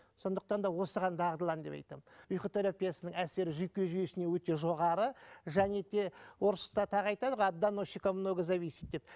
сондықтан да осыған дағдылан деп айтамын ұйқы терпиясының әсері жүйке жүйесіне өте жоғары және де орыста тағы айтады ғой от доносщика многое зависит деп